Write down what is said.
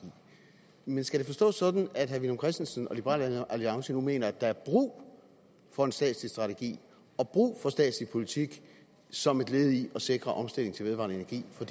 men skal det forstås sådan at herre villum christensen og liberal alliance nu mener at der er brug for en statslig strategi og brug for en statslig politik som et led i at sikre omstilling til vedvarende energi for